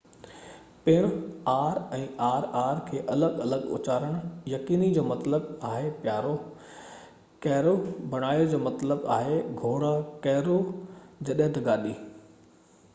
پڻ، R ۽ R R کي الڳ الڳ اُچارڻ يقيني بڻايو: caro جو مطلب آهي پيارو ، جڏهن ته carro جو مطلب آهي گهوڙا گاڏي